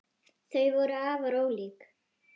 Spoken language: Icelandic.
Þau voru afar ólík.